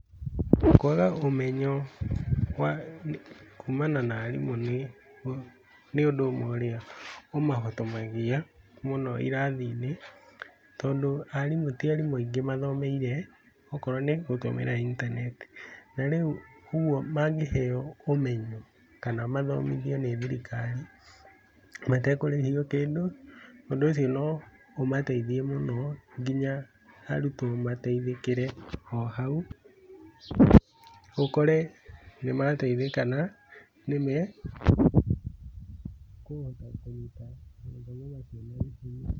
Kwaga ũmenyo kumana na arimũ nĩ ũndũ ũmwe ũrĩa ũmahotomagia irathi-inĩ tondũ ti arimũ aingĩ mathomeire okorwo nĩgũthomera intaneti. ũguo mangĩheo ũmenyo kana mathomithio nĩ thirikari matekũrĩhio kĩndũ, ũndũ ũcio no ũmateithie mũno nginya arutwo mateithĩkĩre o hau ũkore nĩ mateithĩka na nĩmekũhota kũruta mathomo macio na intaneti.